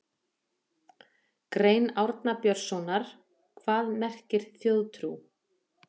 Grein Árna Björnssonar Hvað merkir þjóðtrú?